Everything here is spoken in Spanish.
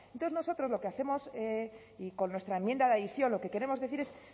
entonces nosotros lo que hacemos y con nuestra enmienda de adición lo que queremos decir es